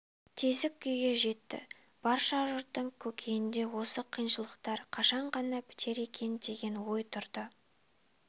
тесік күйге жетті барша жұрттың көкейінде осы қиыншылықтар қашан ғана бітер екен деген ой тұрды